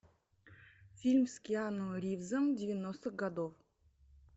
фильм с киану ривзом девяностых годов